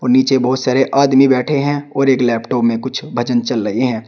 नीचे बहुत सारे आदमी बैठे हैं और एक लैपटॉप में कुछ भजन चल रहे है।